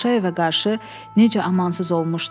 Paşayevə qarşı necə amansız olmuşdu.